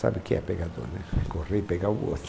Sabe o que é pegador né, correr e pegar o outro.